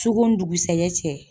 Su ko ni dugusaɛjɛ cɛ.